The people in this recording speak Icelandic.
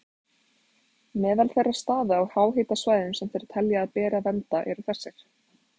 Meðal þeirra staða á háhitasvæðum sem þeir telja að beri að vernda eru þessir